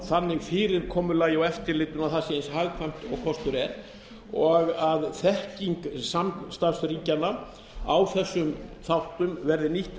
þannig fyrirkomulagi og eftirliti að það sé eins hagkvæmt og kostur er og þekking samstarfsríkjanna á þessum þáttum verði nýtt